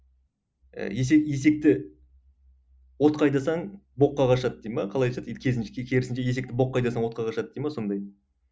ы есек есекті отқа айдасаң боққа қашады дей ме қалай айтушы еді керісінше керісінше есекті боққа айдасаң отқа қашады дей ме сондай